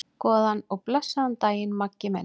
Góðan og blessaðan daginn, Maggi minn.